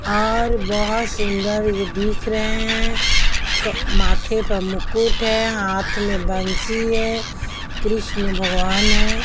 और बहुत सुंदर ये दिख रहे हैं माथे पर मुकुट है हाथ में बंसी है कृष्ण भगवान है।